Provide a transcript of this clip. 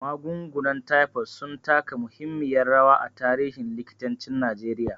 Magungunan taifod sun taka muhimmiyar rawa a tarihin likitancin Najeriya.